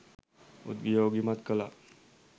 උද්යෝගිමත් කළා